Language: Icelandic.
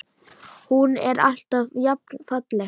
Hún er alltaf jafn falleg.